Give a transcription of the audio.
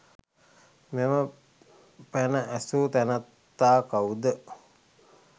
මෙම පැන ඇසූ තැනැත්තා කවුද?